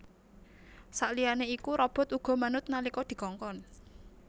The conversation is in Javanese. Saliyané iku robot uga manut nalika dikongkon